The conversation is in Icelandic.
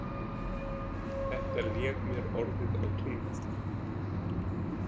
Þetta lék mér orðið á tungu.